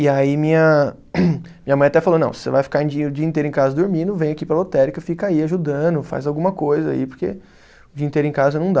E aí minha minha mãe até falou, não, você vai ficar em dia, o dia inteiro em casa dormindo, vem aqui para a lotérica, fica aí ajudando, faz alguma coisa aí, porque o dia inteiro em casa não dá.